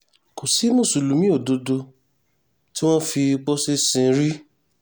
kò sí mùsùlùmí òdodo tí wọ́n fi pósí sìn rí